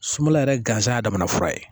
Sumala yɛrɛ ganzan ya damana fura ye